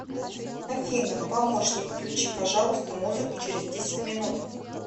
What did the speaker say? афина помощник включи пожалуйста музыку через десять минут